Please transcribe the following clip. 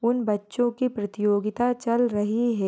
उन बच्चों की प्रतियोगिता चल रही है।